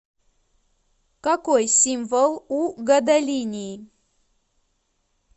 какой символ у гадолиний